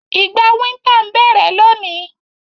Ìgbà winter n bẹ́rẹ́ loni